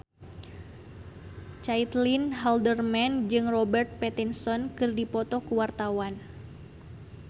Caitlin Halderman jeung Robert Pattinson keur dipoto ku wartawan